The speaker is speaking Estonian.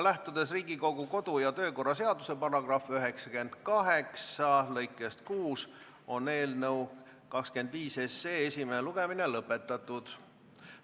Lähtudes Riigikogu kodu- ja töökorra seaduse § 98 lõikest 6, on eelnõu 25 esimene lugemine lõpetatud.